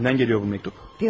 Kimdən gəlir bu məktub?